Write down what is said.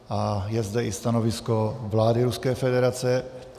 A je zde i stanovisko vlády Ruské federace.